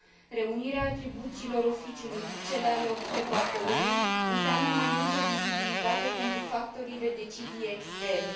Reunirea atribuțiilor Oficiului cu cele ale Observatorului înseamnă mai multă vizibilitate pentru factorii de decizie externi.